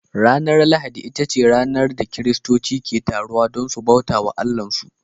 Ranar lahadi ita ce ranar da kiristoci ke taruwa don su bauta wa Allahnsu